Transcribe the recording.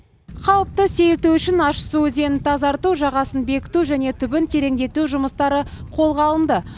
қауіпті сейілту үшін ащысу өзенін тазарту жағасын бекіту және түбін тереңдету жұмыстары қолға алынды